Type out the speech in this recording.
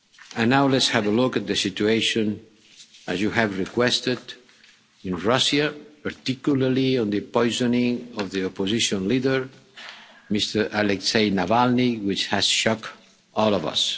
reform. And now, let's have a look at the situation, as you have requested, in Russia, and particularly the poisoning of the Opposition Leader Mr Alexei Navalny, which has shocked